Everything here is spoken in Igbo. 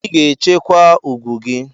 Ị ga-echekwa ugwu gị!